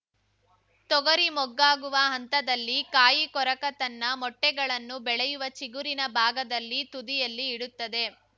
ತೊಗರಿ ಮೊಗ್ಗಾಗುವ ಹಂತದಲ್ಲಿ ಕಾಯಿ ಕೊರಕ ತನ್ನ ಮೊಟ್ಟೆಗಳನ್ನು ಬೆಳೆಯುವ ಚಿಗುರಿನ ಭಾಗದಲ್ಲಿ ತುದಿಯಲ್ಲಿ ಇಡುತ್ತದೆ